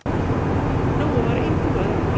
Nói var engum öðrum líkur.